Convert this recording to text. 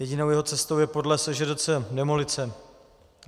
Jedinou jeho cestou je podle SŽDC demolice.